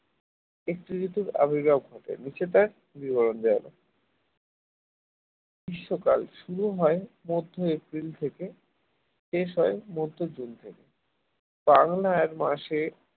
একটি ঋতু বিবরণ দেওয়া হল গ্রীষ্মকাল শুরু হয় মধ্য এপ্রিল থেকে শেষ হয় মধ্য জুনে । বাংলায় এক মাসে